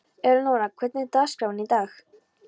Elenóra, hvernig er dagskráin í dag?